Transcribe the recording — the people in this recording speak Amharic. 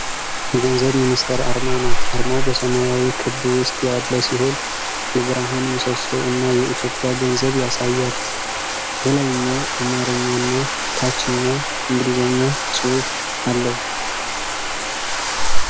የገንዘብ ሚኒስቴር አርማ ነው። አርማው በሰማያዊ ክብ ውስጥ ያለ ሲሆን፣ የብርሃን ምሰሶ እና የኢትዮጵያ ገንዘብ ያሳያል። በላይኛው አማርኛና ታችኛው እንግሊዝኛ ጽሑፍ አለው።